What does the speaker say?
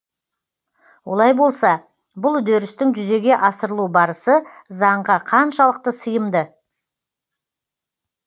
олай болса бұл үдерістің жүзеге асырылу барысы заңға қаншалықты сыйымды